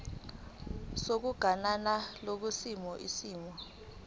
sokuganana kulesi simo